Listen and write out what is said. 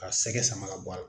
Ka sɛgɛ sama bɔ a la.